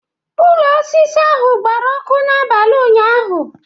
Ụlọ osisi ndị ahụ gbara ọkụ n'abalị ụnyahụ